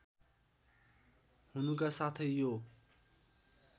हुनुका साथै यो